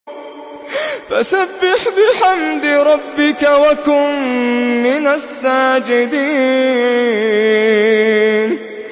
فَسَبِّحْ بِحَمْدِ رَبِّكَ وَكُن مِّنَ السَّاجِدِينَ